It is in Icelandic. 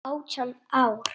Átján ár.